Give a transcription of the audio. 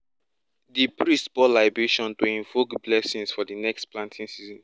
di priest pour libation to invoke blessings for di next planting season